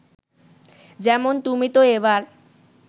যেমন, তুমি তো এবার